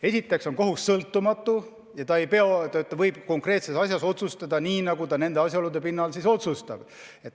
Esiteks on kohus sõltumatu ja ta võib konkreetses asjas otsustada nii, nagu ta teatud asjaolude pinnalt õigeks peab.